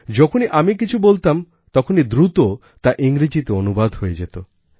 যখনই আমি কিছু বলতাম তখনি দ্রুত তা ইংরেজিতে অনুবাদ হয়ে যেত